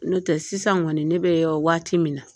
N'o tɛ sisan kɔni ne bɛ waati min na